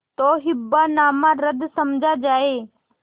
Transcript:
तो हिब्बानामा रद्द समझा जाय